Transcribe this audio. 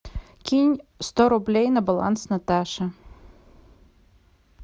кинь сто рублей на баланс наташе